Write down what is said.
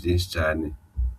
vyinshi cane.